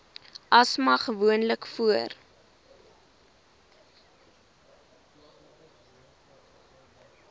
asma gewoonlik voor